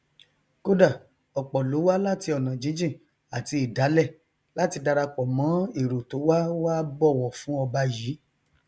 kódà ọpọ ló wá láti ọnà jíjìn àti ìdálẹ láti darapọ mọn èrò tó wá wá bọwọ fú ọba yìí